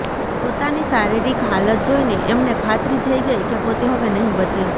પોતાની શારીરિક હાલત જોઈને એમને ખાતરી થઈ ગઈ કે પોતે હવે નહીં બચે